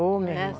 Oh, minha irmã.